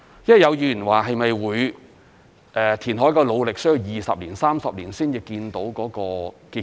有議員說，填海的努力是否需要20年、30年才看到結果？